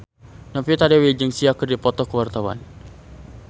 Novita Dewi jeung Sia keur dipoto ku wartawan